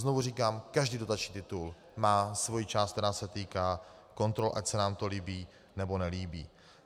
Znovu říkám, každý dotační titul má svoji část, která se týká kontrol, ať se nám to líbí, nebo nelíbí.